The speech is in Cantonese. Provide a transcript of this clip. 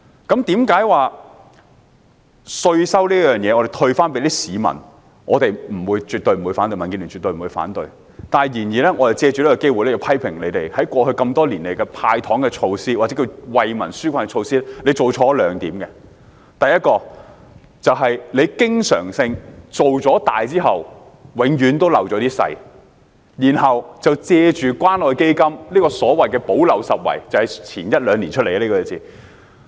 在稅收方面，政府退稅給市民，民主建港協進聯盟絕不反對；然而，我們要藉此機會批評政府，在過去多年來的"派糖"措施，或惠民紓困措施，做錯了兩點：第一，政府經常顧大失小，然後藉着關愛基金進行所謂補漏拾遺——這個詞語是一兩年前出現的。